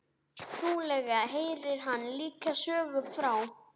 Trúlega heyrir hann líka sögu frá